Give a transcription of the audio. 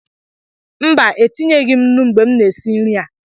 Mba, etinyeghị m nnu mgbe m na-esi nri a